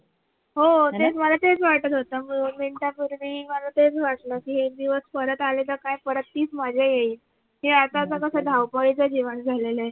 हो तेच मला तेच वाटत होत हो त्या पूर्वीही मला तेच वाटल कि हे दिवस परत आले तर काय परत तीच मजा येईल हे आता अस कस धावपळीच जीवन झाला आहे.